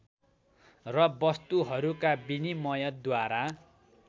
र वस्तुहरूका विनिमयद्वारा